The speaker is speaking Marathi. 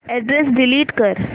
अॅड्रेस डिलीट कर